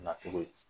Na cogo ye